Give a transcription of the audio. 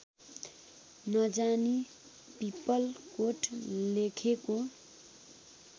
नजानी पिपलकोट लेखेको